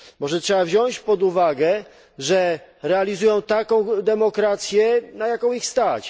Może trzeba wziąć pod uwagę, że realizują taką demokrację, na jaką ich stać.